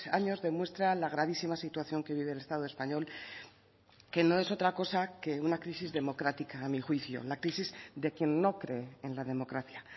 años demuestra la gravísima situación que vive el estado español que no es otra cosa que una crisis democrática a mi juicio la crisis de quien no cree en la democracia